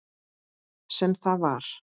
Sem það var.